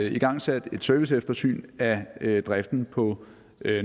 igangsat et serviceeftersyn af driften på